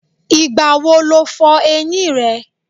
Ìgbà wo lo fọ eyín rẹ?